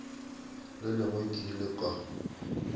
le lengwe ke ile ka